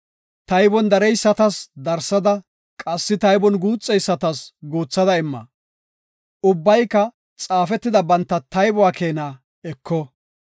Taybon dareysatas darsada qassi taybon guuxeysatas guuthada imma. Ubbayka xaafetida banta taybuwa keena eko.